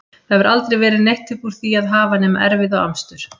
Það hefur aldrei verið neitt upp úr því að hafa nema erfiði og amstur.